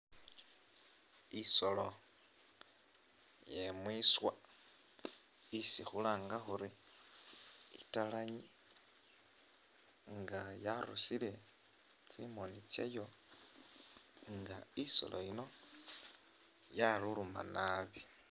Isolo iye mwiswa isi khulanga khuri italanyi nga yarusile tsimoni tsayo nga isolo yino yaluluma naabi.